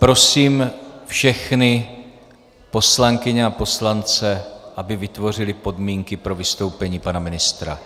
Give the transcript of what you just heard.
Prosím všechny poslankyně a poslance, aby vytvořili podmínky pro vystoupení pana ministra.